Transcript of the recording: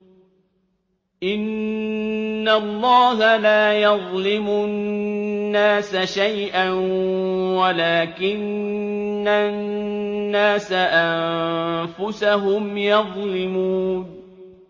إِنَّ اللَّهَ لَا يَظْلِمُ النَّاسَ شَيْئًا وَلَٰكِنَّ النَّاسَ أَنفُسَهُمْ يَظْلِمُونَ